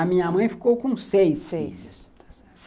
A minha mãe ficou com seis filhos. Seis.